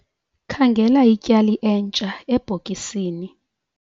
Khangela ityali entsha ebhokisini.